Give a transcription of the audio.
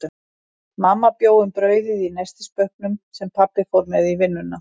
Mamma bjó um brauðið í nestisbauknum, sem pabbi fór með í vinnuna.